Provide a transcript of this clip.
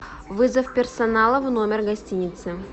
вызов персонала в номер гостиницы